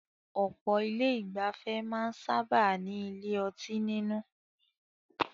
Ọ̀pọ̀ ilé ìgbafẹ́ máa ń sábáà ní ilé ọtí nínú.